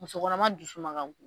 Muso kɔnɔma dusu man ka go.